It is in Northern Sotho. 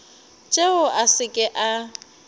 tšeo a se ke a